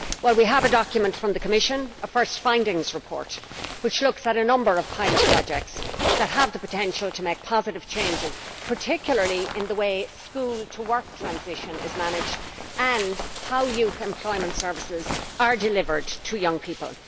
We have a document from the Commission a first findings report which looks at a number of pilot projects that have the potential to make positive changes, particularly in the way school to work transition is managed and how youth employment services are delivered to young people.